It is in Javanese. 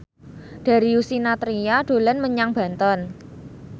Darius Sinathrya dolan menyang Banten